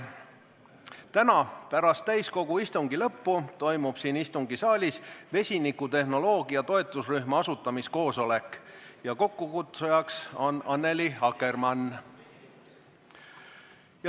Täna pärast täiskogu istungi lõppu toimub siin istungisaalis vesinikutehnoloogia toetusrühma asutamise koosolek ja selle kokkukutsujaks on Annely Akkermann.